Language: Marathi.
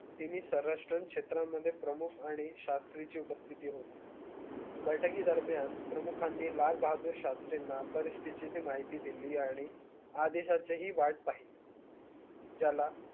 तिनी सर्वराष्ट्र क्षेत्रमध्ये प्रमुख आणि शास्री ची उपस्तिती होती बयठिकी दरम्यान प्रमुखांनी लाल बहादूर शास्त्री परीस्ती ची माहिती दिली आणि आदेशाची हि वाट पहिली ज्याला